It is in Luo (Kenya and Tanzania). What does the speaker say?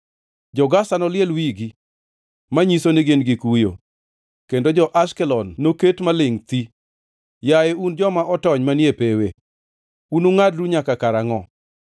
Jo-Gaza noliel wigi manyiso ni gin gi kuyo; kendo jo-Ashkelon noket malingʼ thii. Yaye un joma otony manie pewe, unungʼadru nyaka kara angʼo?